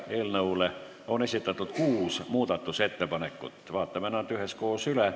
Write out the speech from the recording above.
Eelnõu kohta on esitatud kuus muudatusettepanekut, vaatame need üheskoos üle.